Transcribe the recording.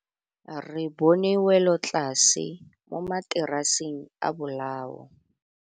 Re bone wêlôtlasê mo mataraseng a bolaô.